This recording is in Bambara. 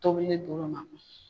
Tobilen di l'u ma